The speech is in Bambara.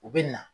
U bɛ na